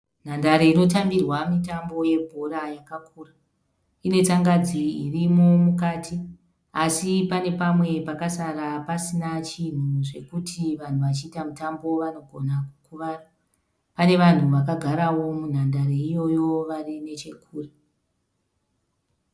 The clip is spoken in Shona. Nhandare inotambirwa mitambo yebhora yakakura. Inetsangadzi irimo mukati asi pane pamwe pakasara pasina chinhu zvekuti vanhu vachiita mutambo vanogona kukuvara. Pane vanhu vakagarawo munhandare iyoyo vari nechekure.